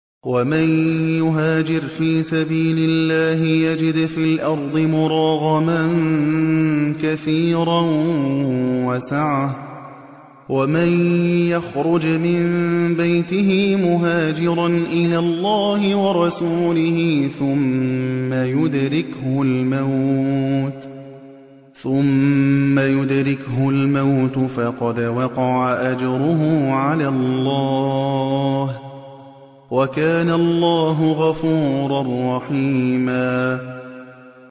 ۞ وَمَن يُهَاجِرْ فِي سَبِيلِ اللَّهِ يَجِدْ فِي الْأَرْضِ مُرَاغَمًا كَثِيرًا وَسَعَةً ۚ وَمَن يَخْرُجْ مِن بَيْتِهِ مُهَاجِرًا إِلَى اللَّهِ وَرَسُولِهِ ثُمَّ يُدْرِكْهُ الْمَوْتُ فَقَدْ وَقَعَ أَجْرُهُ عَلَى اللَّهِ ۗ وَكَانَ اللَّهُ غَفُورًا رَّحِيمًا